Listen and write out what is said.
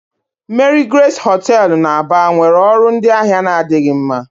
Marigrace hoteelu na Aba nwere ọrụ ndị ahịa na-adịghị mma.